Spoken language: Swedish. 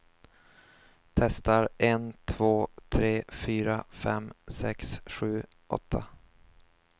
Testar en två tre fyra fem sex sju åtta.